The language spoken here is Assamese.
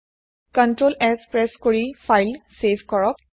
ctrls প্ৰেছ কৰি ফাইল চেভ কৰক